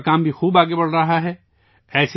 ان کا کام بھی بہت آگے بڑھ رہا ہے